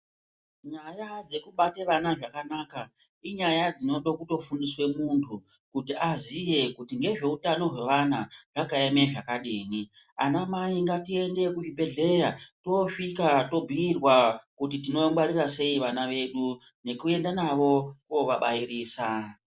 Nyaya dzekubate vana zvakanaka inyaya dzinode kutofundiswe muntu kuti aziye kuti ngezveutano hwevana zvakaeme zvakadini. Anamai ngatiende kuzvibhedhleya toosvika tobhuirwa kuti tinongwarira sei vana vedu, nekuenda navo kuovabairisa.